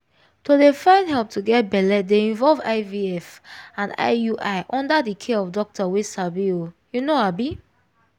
to dey find help to get belle dey involve ivf ana iui under the care of doctor wey sabi ohh you know abii